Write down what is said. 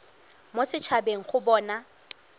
mo set habeng go bona